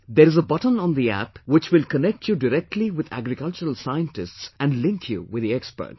There is a button on the App which will connect you directly with agricultural scientists and link you with the experts